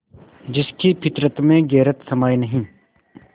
जिसकी फितरत में गैरत समाई नहीं